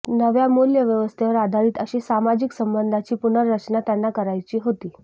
नव्या मूल्यव्यवस्थेवर आधारित अशी सामाजिक संबंधांची पुनर्रचना त्यांना करायची होती